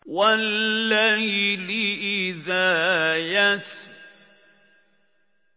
وَاللَّيْلِ إِذَا يَسْرِ